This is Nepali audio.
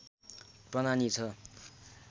प्रनानि ६